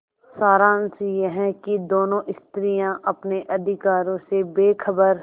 सारांश यह कि दोनों स्त्रियॉँ अपने अधिकारों से बेखबर